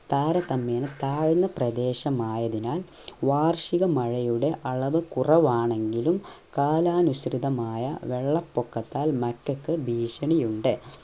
താരതമേന്യ താഴ്ന്ന പ്രദേശം ആയതിനാൽ വാർഷിക മഴയുടെ അളവ് കുറവാണെങ്കിലും കാലാനുസൃതമായ വെള്ളപൊക്കത്താൽ മറ്റൊക്കെ ഭീഷണിയുണ്ട്